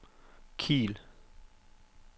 Kiel